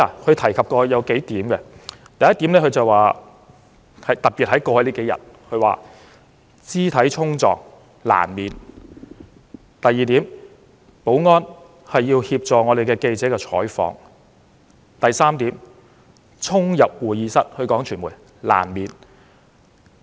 他提出了數點，第一點——特別是過去數天——他說肢體衝撞難免；第二點，保安員要協助記者採訪；及第三點，傳媒衝入會議室難免。